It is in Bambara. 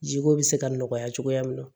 Jiko bɛ se ka nɔgɔya cogoya min na